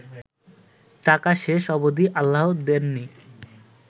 টাকা শেষ অবদি আল্লাহ দেননি